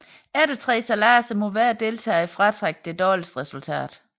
Efter tre sejladser må hver deltager fratrække det dårligste resultat